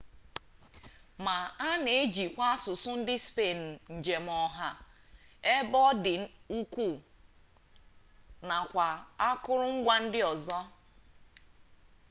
ma a na-ejikwa asụsụ ndị spenụ njem ọha ebe ọ dị ukwuu nakwa akụrụngwa ndị ọzọ